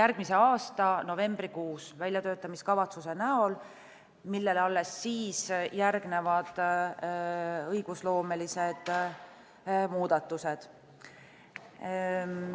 järgmise aasta novembrikuus väljatöötamiskavatsuse näol, millele alles siis järgnevad õigusloomelised muudatused.